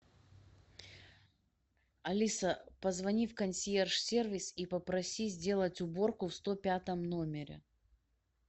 алиса позвони в консьерж сервис и попроси сделать уборку в сто пятом номере